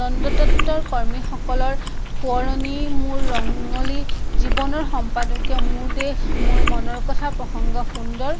নন্দতত্ত কৰ্মীসকলৰ সোঁৱৰণি মোৰ ৰঙলি, জীৱনৰ সম্পাদকীয় মোৰ দেশ, মোৰ মনৰ কথা, প্ৰংসগ সুন্দৰ